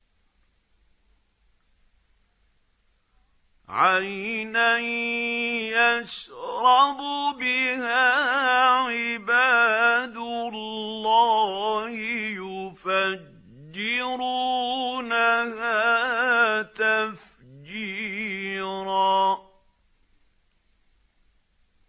عَيْنًا يَشْرَبُ بِهَا عِبَادُ اللَّهِ يُفَجِّرُونَهَا تَفْجِيرًا